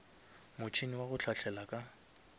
motšhene wa go hlahlela ka